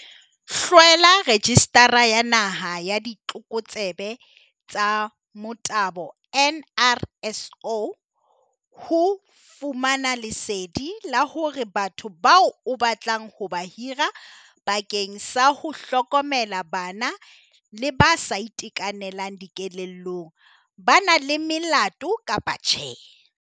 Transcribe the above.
HLWELA REJISTARA ya Naha ya Ditlokotsebe tsa Motabo, NRSO, ho fumana lesedi la hore batho bao o batlang ho ba hira bakeng sa ho hlokomela bana le ba sa itekanelang dikelellong ba na le melato kapa tjhe.